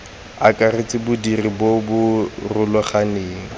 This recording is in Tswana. akaretsa bodiri bo bo rulaganeng